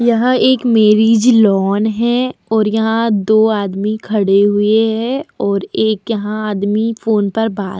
यहाँ एक marriage lawn है और यहाँ दो आदमी खड़े हुए है और एक यहाँ आदमी फोन पर बात --